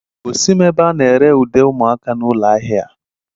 Gosim ebe a na ere ude ụmụaka na ụlọ ahịa a